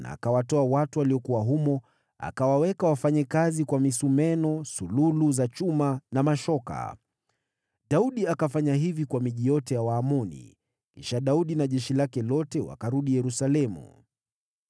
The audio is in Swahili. Akawatoa watu waliokuwa humo, akawaweka wafanye kazi kwa misumeno, sululu za chuma na mashoka. Daudi akafanya hivi kwa miji yote ya Waamoni. Kisha Daudi na jeshi lake lote wakarudi Yerusalemu.